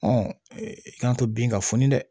i k'an to bin ka funu dɛ